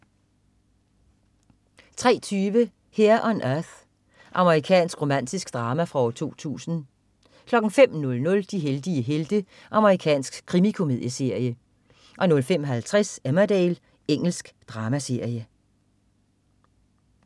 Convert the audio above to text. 03.20 Here on Earth. Amerikansk romantisk drama fra 2000 05.00 De heldige helte. Amerikansk krimikomedieserie 05.50 Emmerdale. Engelsk dramaserie